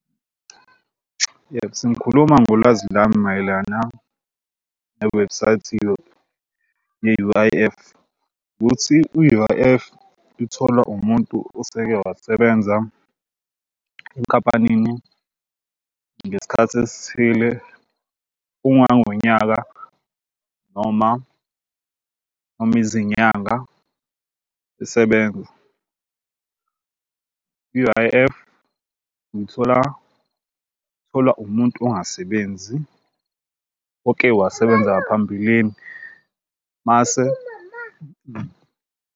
Yes, ngikhuluma ngolwazi lami mayelana newebhusayithi ye-U_I_F ukuthi u-U_I_F itholwa umuntu oseke wasebenza enkampanini ngesikhathi esithile ungangonyaka noma noma izinyanga esebenza. I-U_I_F uyithola itholwa umuntu ongasebenzi oke wasebenza ngaphambilini mase.